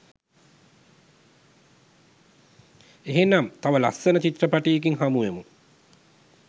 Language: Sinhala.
එහෙනම් තව ලස්සන චිත්‍රපටියකින් හමුවෙමු.